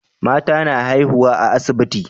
Mata na haihuwa a asibiti